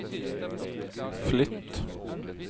flytt